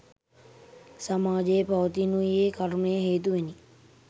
සමාජයේ පවතිනුයේ කර්මය හේතුවෙනි.